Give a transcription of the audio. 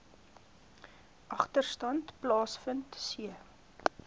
agterstand plaasvind c